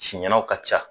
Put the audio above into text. Sumanw ka ca